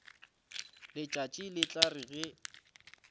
letšatši le tla re ge